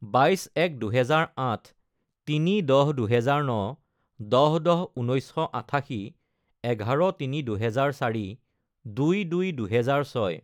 বাইছ এক দুহেজাৰ আঠ, তিনি দহ দুহেজাৰ ন, দহ দহ ঊনৈছশ আঠাশী, এঘাৰ তিনি দুহেজাৰ চাৰি, দুই দুই দুহেজাৰ ছয়